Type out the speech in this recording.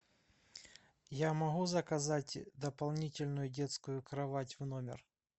я могу заказать дополнительную детскую кровать в номер